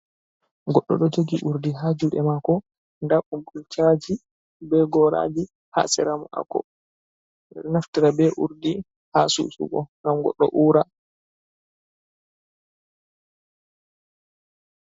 Goɗɗo ɗo jogi urdi ha juɗe mako, nda gol shaji be goraji ha sera mako naftira be urdi, ha susugo gam goddo ura.